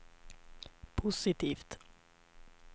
positivt